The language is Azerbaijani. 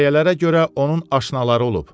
Şayiələrə görə onun aşnaları olub.